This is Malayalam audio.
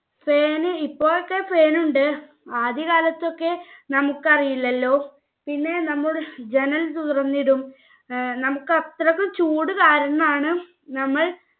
fan ഇപ്പോഴൊക്കെ fan ഉണ്ട് ആദ്യകാലത്തൊക്കെ നമ്മുക്ക് അറിയില്ലല്ലോ പിന്നെ നമ്മൾ ജനൽ തുറന്നിടും ഏർ നമ്മുക്ക് അത്രക്കും ചൂട് കാരണാണ് നമ്മൾ